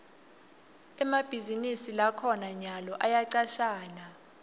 emabhizinisi lakhona nyalo ayacashana